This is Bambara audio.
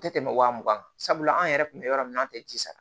Tɛ tɛmɛ wa mugan kan sabula an yɛrɛ kun bɛ yɔrɔ min na an tɛ ji sara